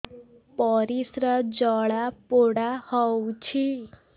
ପରିସ୍ରା ଜଳାପୋଡା ହଉଛି